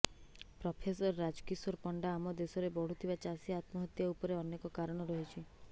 professor Rajkishore Panda ଆମ ଦେଶରେ ବଢ଼ୁଥିବା ଚାଷୀ ଆତ୍ମହତ୍ୟା ଉପରେ ଅନେକ କାରଣ ରହିଛି